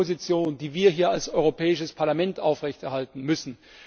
Das ist die Position, die wir hier als Europäisches Parlament aufrechterhalten müssen.